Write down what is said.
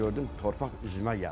Gördüm torpaq üzümə gəlir.